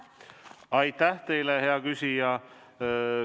Aitäh teile, hea küsija!